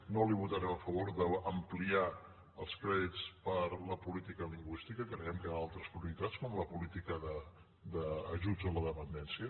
ni li votarem a favor d’ampliar els crèdits per a la política lingüística creiem que hi ha altres prioritats com la política d’ajuts a la dependència